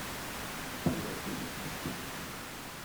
перевод денег на телефон